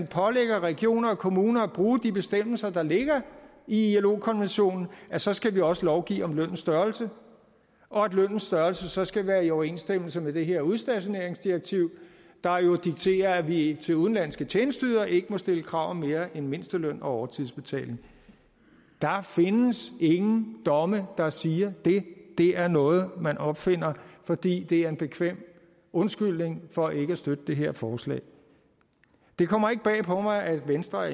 pålægger regioner og kommuner at bruge de bestemmelser der ligger i ilo konventionen så skal vi også lovgive om lønnens størrelse og at lønnens størrelse så skal være i overensstemmelse med det her udstationeringsdirektiv der jo dikterer at vi til udenlandske tjenesteydere ikke må stille krav om mere end mindsteløn og overtidsbetaling der findes ingen domme der siger det det er noget man opfinder fordi det er en bekvem undskyldning for ikke at støtte det her forslag det kommer ikke bag på mig at venstre